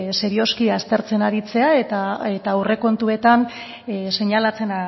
serioski aztertzen aritzea eta aurrekontuetan seinalatzen